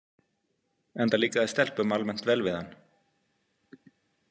Enda líkaði stelpum almennt vel við hann.